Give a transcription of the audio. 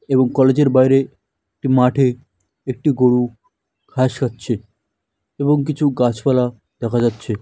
এবং কলেজ -এর বাইরে একটি মাঠে একটি গরু ঘাস খাচ্ছে এবং কিছু গাছপালা দেখা যাচ্ছে।